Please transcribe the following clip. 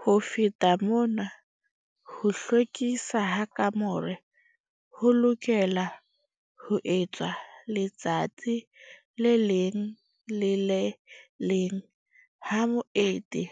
Ho feta mona ho hlwekiswa ha kamore ho lokelwa ho etswa letsatsi le leng le le leng ha moeti